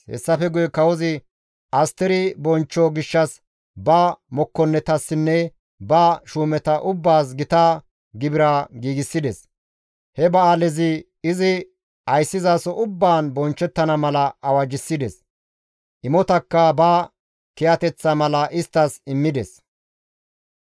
Hessafe guye kawozi Asteri bonchcho gishshas ba mokkonnetassinne ba shuumeta ubbaas gita gibira giigsides. He ba7aalezi izi ayssizaso ubbaan bonchchettana mala awajjissides. Imotakka ba kiyateththa mala isttas immides.